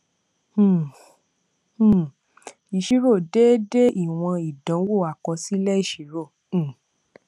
um um ìṣirò déédé ìwòn ìdánwò àkọsílẹ ìṣirò um